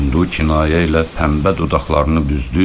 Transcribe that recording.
İndi o kinayə ilə tənbə dodaqlarını büzdü.